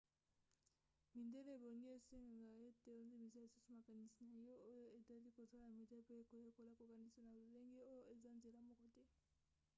midele ebongi esengeka ete ondimisa lisusu makanisi na yo na oyo etali kosala media mpe koyekola kokanisa na lolenge oyo eza nzela moko te